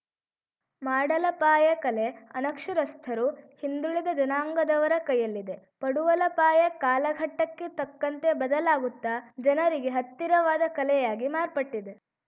ಮಾಡಲಪಾಯ ಕಲೆ ಅನಕ್ಷರಸ್ಥರು ಹಿಂದುಳಿದ ಜನಾಂಗದವರ ಕೈಯಲ್ಲಿದೆ ಪಡುವಲಪಾಯ ಕಾಲಘಟ್ಟಕ್ಕೆ ತಕ್ಕಂತೆ ಬದಲಾಗುತ್ತಾ ಜನರಿಗೆ ಹತ್ತಿರವಾದ ಕಲೆಯಾಗಿ ಮಾರ್ಪಟ್ಟಿದೆ